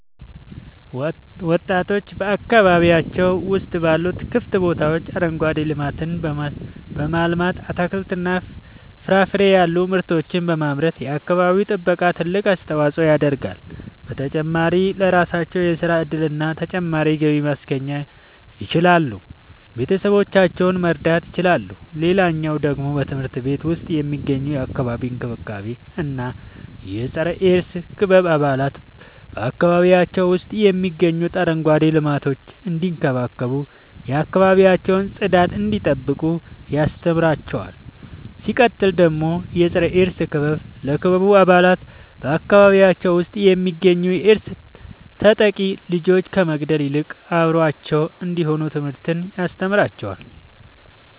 ወጣቶች በአካባቢያቸው ውስጥ ባሉ ክፍት ቦታዎች አረንጓዴ ልማትን በማልማት አትክልትና ፍራፍሬ ያሉ ምርቶችን በማምረት የአካባቢው ጥበቃ ትልቅ አስተዋጽኦ ያደርጋሉ። በተጨማሪም ለራሳቸው የሥራ እድልና ተጨማሪ ገቢ ማስገኘት ይችላሉ ቤተሰቦቻቸውን መርዳት ይችላሉ። ሌላኛው ደግሞ በትምህርት ቤት ውስጥ የሚገኙ የአካባቢ እንክብካቤ እና የፀረ -ኤድስ ክበብ አባላት በአካባቢያቸው ውስጥ የሚገኙትን አረንጓዴ ልማቶች እንዲንከባከቡ የአካባቢያቸውን ጽዳት እንዲጠብቁ ያስተምሯቸዋል። ሲቀጥል ደግሞ የፀረ-ኤድስ ክበብ ለክበቡ አባላት በአካባቢያቸው ውስጥ የሚገኙ የኤድስ ተጠቂ ልጆችን ከመግለል ይልቅ አብረዋቸው እንዲሆኑ ትምህርትን ያስተምራቸዋል።